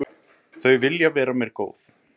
Þau vilja vera mér góð.